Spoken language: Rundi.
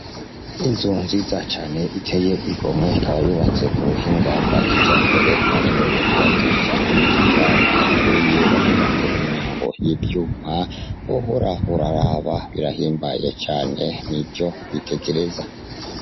Inzu nziza cane iteye igomwe ikaba yubatse kubuhinga bwa kijambere bashoboye kubakisha amatafari aturiye bashirako imyango yivyuma wohora uraraba birahimbaye cane nivyo kwitegereza.